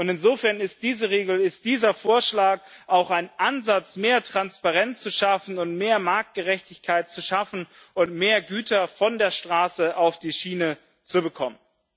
Insofern ist diese Regel, ist dieser Vorschlag auch ein Ansatz, mehr Transparenz und mehr Marktgerechtigkeit zu schaffen und mehr Güter von der Straße auf die Schiene zu bekommen.